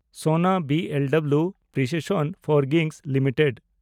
ᱥᱚᱱᱟ B L W precision forging limited